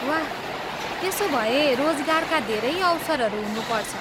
वाह! त्यसो भए रोजगारका धेरै अवसरहरू हुनुपर्छ।